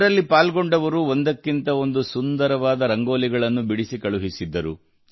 ಇದರಲ್ಲಿ ಪಾಲ್ಗೊಂಡವರು ಒಂದಕ್ಕಿಂತ ಒಂದು ಸುಂದರವಾದ ರಂಗೋಲಿಗಳನ್ನು ಬಿಡಿಸಿ ಕಳುಹಿಸಿದ್ದರು